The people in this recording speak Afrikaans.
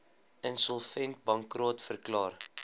insolvent bankrot verklaar